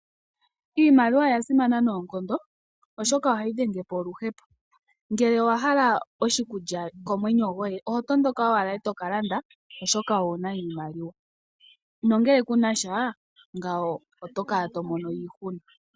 Iimaliwa oya simana noonkondo oshoka ohayi dhenge po oluhepo. Ngele owa hala oshikulya komwenyo gwoye oho tondoka owala e to ka landa oshoka owu na iimaliwa nongele ku nasha ngawo oto kala to mono iihunu.